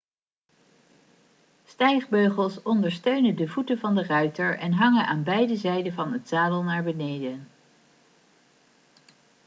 stijgbeugels ondersteunen de voeten van de ruiter en hangen aan beide kanten van het zadel naar beneden